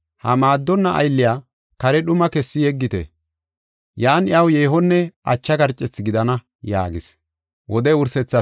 Ha maaddonna aylliya kare dhumaa kessi yeggite. Yan iyaw yeehonne ache garcethi gidana’ yaagis.